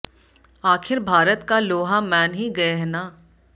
आखिर भारत का लोहा मॅन ही गये है ना